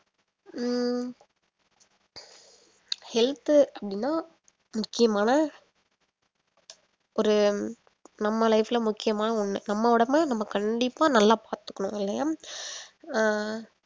ஹம் health அப்படின்னா முக்கியமான ஒரு நம்ம life ல முக்கியமா ஒண்ணு நம்ம உடம்பு நம்ம கண்டிப்பா நல்லா பாத்துக்கணும் இல்லையா அஹ்